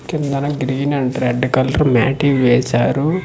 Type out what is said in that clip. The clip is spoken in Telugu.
కిందన గ్రీన్ అండ్ రెడ్ కలర్ మ్యాటి వేశారు.